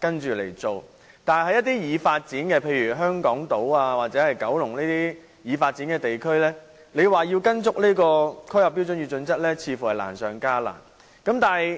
辦事，但在一些已發展的地區，例如香港島或九龍舊區，如果要依循《規劃標準》，似乎難上加難。